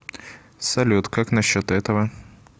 салют как на счет этого